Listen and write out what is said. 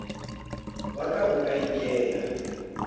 wa ka o ka ikela